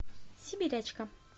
сибирячка